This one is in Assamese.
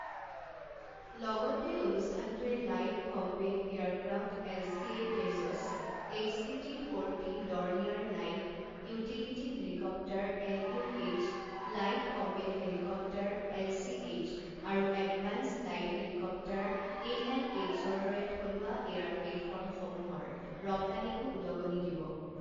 লগতে, অনুষ্ঠানটোৱে light combat aircraft LCA Tejas, HTT forty, Dornier light utility helicopter LUH, light combat helicopter LCH আৰু এডভান্সড লাইট হেলিকপ্টাৰ এএলএইচ ৰ দৰে থলুৱা এয়াৰ প্লেটফৰ্ম সমূহৰ ৰপ্তানিকো উদগনি দিব।